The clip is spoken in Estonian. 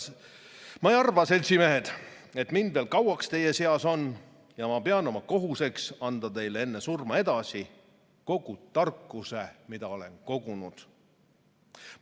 Ma ei arva, seltsimehed, et mind veel kauaks teie seas on, ja ma pean oma kohuseks anda teile enne surma edasi kogu tarkus, mille olen kogunud.